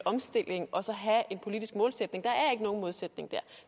omstilling og så have en politisk målsætning der er ikke nogen modsætning der